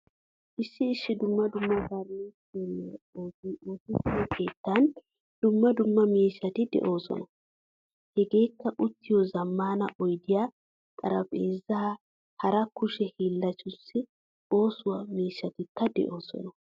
Issi dumma dumma furnichchere oosoy oosettiyo keettan dumma dumma miishshati deosona. Hegekka uttiyo zamaana oydiya, xaraphphezza hara kushe hillanchchattu oosuwaa miishshatikka deosona.